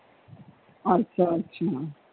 ਅੱਛਾ ਅੱਛਾ।